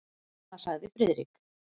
Seinna sagði Friðrik.